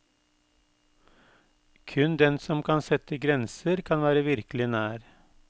Kun den som kan sette grenser kan være virkelig nær.